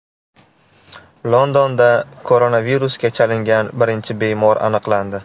Londonda koronavirusga chalingan birinchi bemor aniqlandi.